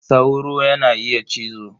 Sauro yana iya cizo.